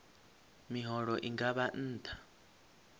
miholo i nga vha nṱha